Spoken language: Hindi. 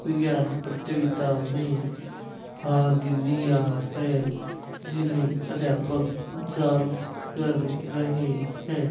विज्ञान प्रतियोगिता में भाग लिया है जिन्हें अध्यापक जांच कर रहे हैं।